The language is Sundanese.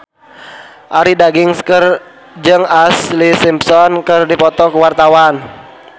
Arie Daginks jeung Ashlee Simpson keur dipoto ku wartawan